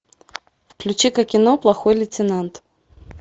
включи ка кино плохой лейтенант